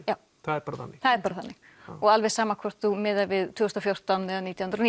það er bara þannig það er bara þannig og alveg sama hvort þú miðar við tvö þúsund og fjórtán eða nítján hundruð